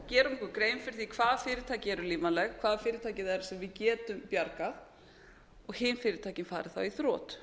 okkur grein fyrir því hvaða fyrirtæki eru lífvænleg hvaða fyrirtæki það eru sem við getum bjargað og hin fyrirtækin fari þá í þrot